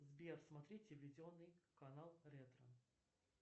сбер смотреть телевизионный канал ретро